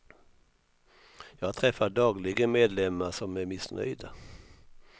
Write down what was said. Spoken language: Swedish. Jag träffar dagligen medlemmar som är missnöjda.